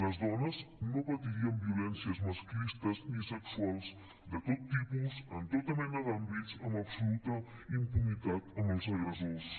les dones no patiríem violències masclistes ni sexuals de tot tipus en tota mena d’àmbits amb absoluta impunitat amb els agressors